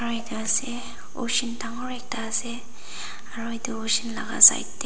ocean dangor ekta ase aru etu ocean laga side te.